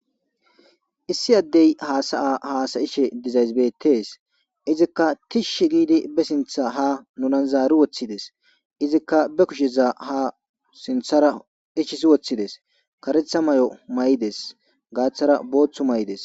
issi addey haasaya haasayishe dizayzibetees izikka tishshi giidi be sintha ha nunan zaari woththides izikka be kusheza ha sinthara ischisi woththides karetha may7o may7ides gaaththara booththu may7ides